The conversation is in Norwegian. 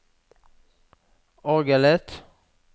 orgelet